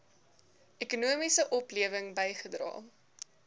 ekonomiese oplewing bygedra